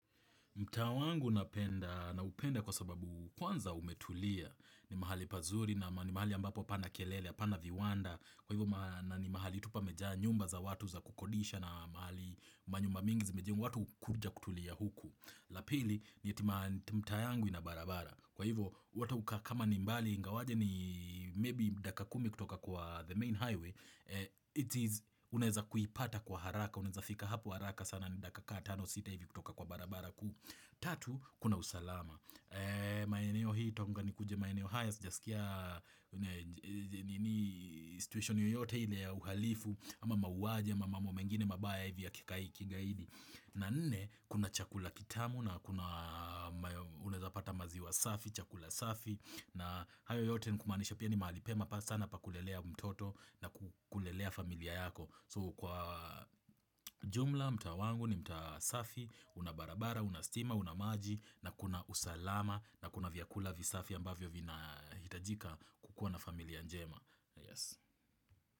Mtaa wangu napenda naupenda kwa sababu kwanza umetulia ni mahali pazuri na mahali ambapo hapana kelele, hapana viwanda, kwa hivyo na ni mahali tu pamejaa nyumba za watu za kukodisha na mahali manyumba mingi zimejengwa, watu kuja kutulia huku. La pili ni eti mtaa yangu ina barabara, kwa hivyo watu kama ni mbali ingawaje ni maybe dakika kumi kutoka kwa the main highway, it is unaeza kuipata kwa haraka, unaeza fika hapo haraka sana ni dakika kama tano sita hivi kutoka kwa barabara kuu. Tatu, kuna usalama. Maeneo hii, toka nikuje maeneo haya, sijasikia situation yoyote ile ya uhalifu, ama mauwaji, ama mambo mengine, mabaya hivi ya kikai, kigaidi. Na nne, kuna chakula kitamu na kuna, unaeza pata maziwa safi, chakula safi, na hayo yote ni kumaanisha pia ni mahali pema pa sana pa kulelea mtoto na kulelea familia yako. So kwa jumla, mtaa wangu ni mtaabsafi, una barabara, una stima, una maji na kuna usalama na kuna vyakula visafi ambavyo vinahitajika kukuwa na familia njema.